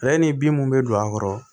Ale ni bin mun be don a kɔrɔ